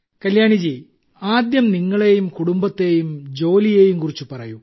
കല്യാണി ജി ആദ്യം നിങ്ങളെയും കുടുംബത്തെയും ജോലിയെയും കുറിച്ച് പറയൂ